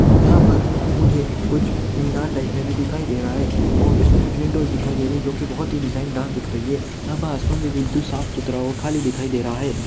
यहाँ पर मुझे कुछ मीनार टाइप में भी दिखाई दे रहा है और कुछ विंडोज दिख रहा है जो की बहुत ही डिजायन दिख रही है और असमान बहुत साफ सुथरा खली दिखाई दे रहा है।